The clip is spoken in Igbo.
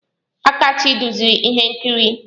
Akachi duziri ihe nkiri.